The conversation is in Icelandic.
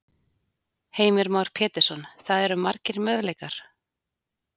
Heimir Már Pétursson: Það eru margir möguleikar?